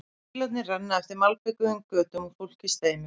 Bílarnir renna eftir malbikuðum götunum og fólkið streymir fram.